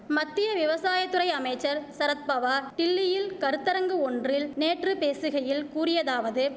மத்திய விவசாய துறை அமைச்சர் சரத்பவார் டில்லியில் கருத்தரங்கு ஒன்றில் நேற்று பேசுகையில் கூறியதாவது